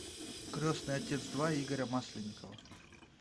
крестный отец два игоря масленникова